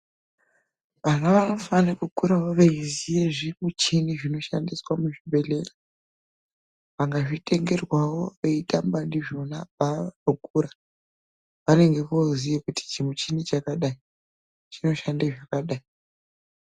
Vana vanofana kukurawa veizivawo zvimuchini zvinoshandiswa muzvibhedhlera, kana kutengerwawo veitamba ndizvona kuitira kuti paanokura anenge oziva kuti chimuchini chakadai chinoshanda zvakadai.